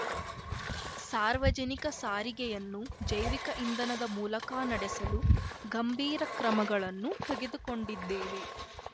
ಸಾರ್ವಜನಿಕ ಸಾರಿಗೆಯನ್ನು ಜೈವಿಕ ಇಂಧನದ ಮೂಲಕ ನಡೆಸಲು ಗಂಭೀರ ಕ್ರಮಗಳನ್ನು ತೆಗೆದುಕೊಂಡಿದ್ದೇವೆ